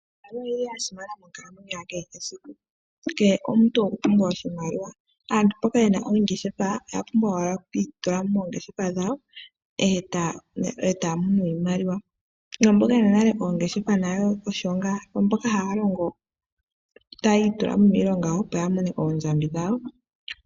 Iimaliwa oyili yasimana monkalamweyo yakehe esiku. Kehe omuntu okwapumbwa oshimaliwa, aantu mboka yena oongeshefa oyapumbwa owala okuitula mo moongeshefa dhawo etaya mono iimaliwa yo mboka yena nale oongeshefa dhawo osho nga, yo mboka nale haya longo tayi itula mo miilonga opo yamone oondjambi dhawo.